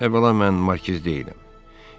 Əvvəla mən markiz deyiləm.